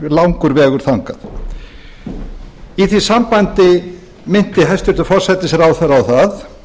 langur vegur þangað í því sambandi minnti hæstvirtur forsætisráðherra